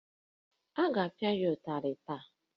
Ị ga-apịa ya ụtarị taa!